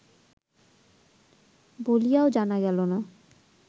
বলিয়াও জানা গেল না।